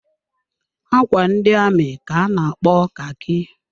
Ákwà ndị amị ka a na-akpo khaki.